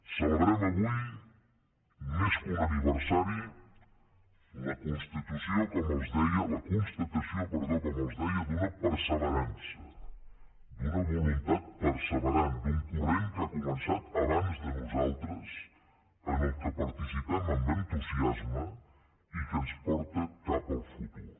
celebrem avui més que un aniversari la constatació com els deia d’una perseverança d’una voluntat perseverant d’un corrent que ha començat abans de nosaltres en el qual participem amb entusiasme i que ens porta cap al futur